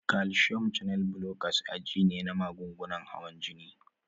Calcium channel blockers aji ne na magungunan hawan jini.